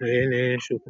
yana yi ne shuku.